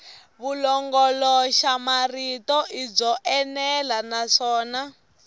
vulongoloxamarito i byo enela naswona